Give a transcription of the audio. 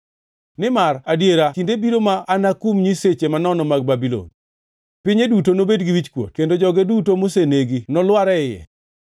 Nimar adiera kinde biro ma anakum nyiseche manono mag Babulon; pinye duto nobed gi wichkuot kendo joge duto mosenegi nolware iye.